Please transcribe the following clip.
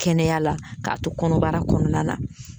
Kɛnɛya la k'a to kɔnɔbara kɔnɔna na